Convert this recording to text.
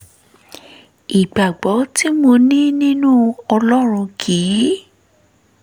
ìgbàgbọ́ tí mo ní nínú ọlọ́run kì í